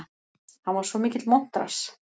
Hann var svo mikill montrass.